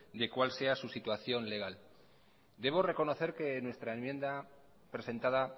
de cuál sea su situación legal debo reconocer que nuestra enmienda presentada